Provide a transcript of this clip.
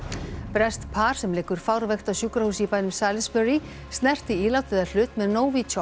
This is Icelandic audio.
breskt par sem liggur fárveikt á sjúkrahúsi í bænum Salisbury snerti ílát eða hlut með